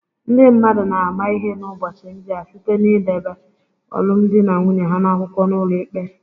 Ndị mmadụ na-ama ihe n’ụbọchị ndị a site n’ideba alụmdi na nwunye ha n’akwụkwọ n’ụlọikpe